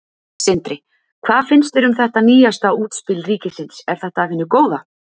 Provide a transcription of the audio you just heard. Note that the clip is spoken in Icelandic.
Sindri: Hvað finnst þér um þetta nýjasta útspil ríkisins, er þetta af hinu góða?